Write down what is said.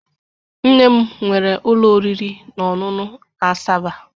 Nne m nwere ụlọ oriri na ọṅụṅụ na Asaba.